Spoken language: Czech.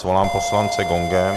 Svolám poslance gongem.